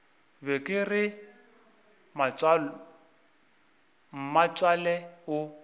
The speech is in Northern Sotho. be ke re mmatswale o